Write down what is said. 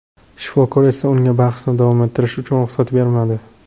Shifokor esa unga bahsni davom ettirishi uchun ruxsat bermadi.